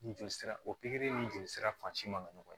Ni joli sira o pikiri ni joli sira fan si man kan ka ɲɔgɔn ye